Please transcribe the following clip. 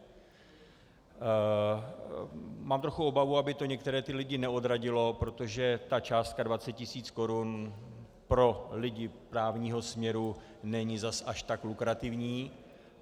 Mám trochu obavu, aby to některé ty lidi neodradilo, protože ta částka 20 tisíc korun pro lidi právního směru není zase až tak lukrativní.